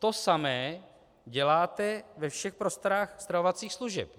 To samé děláte ve všech prostorách stravovacích služeb.